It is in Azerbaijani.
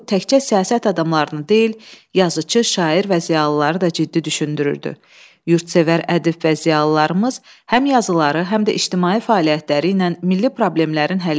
Yurdsevər ədib və ziyalılarımız həm yazıları, həm də ictimai fəaliyyətləri ilə milli problemlərin həlli yolunda Yorulmadan çalışır, ölkənin taleyi ilə bağlı bütün məsələlərdə müstəsna fəallıq göstərirdilər.